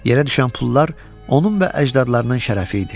Yerə düşən pullar onun və əcdadlarının şərəfi idi.